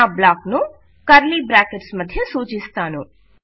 నా బ్లాక్ ను curly brackets మధ్య సూచిస్తాను